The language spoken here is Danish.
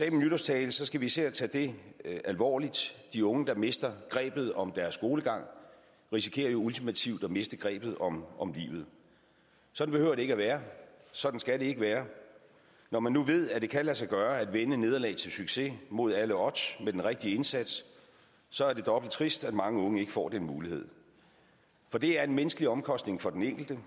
i min nytårstale skal vi især tage det alvorligt de unge der mister grebet om deres skolegang risikerer jo ultimativt at miste grebet om om livet sådan behøver det ikke være sådan skal det ikke være når man nu ved at det kan lade sig gøre at vende nederlag til succes mod alle odds med den rigtige indsats så er det dobbelt trist at mange unge ikke får den mulighed for det er en menneskelig omkostning for den enkelte